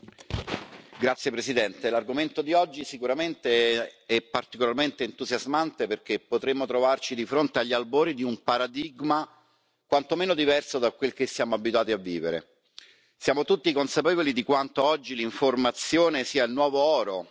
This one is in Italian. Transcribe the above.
Signora Presidente, onorevoli colleghi, l'argomento di oggi, sicuramente, è particolarmente entusiasmante perché potremmo trovarci di fronte agli albori di un paradigma quantomeno diverso da quel che siamo abituati a vivere. Siamo tutti consapevoli di quanto oggi l'informazione sia il nuovo oro,